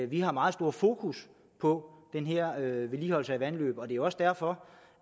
vi har meget stort fokus på den her vedligeholdelse af vandløb og det er også derfor